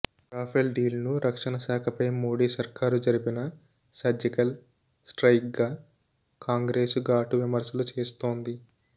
Rafale deal ను రక్షణ శాఖపై మోడీ సర్కారు జరిపిన సర్జికల్ స్ట్రైయిక్ గా కాంగ్రెస్ ఘాటు విమర్శలు చేస్తోంది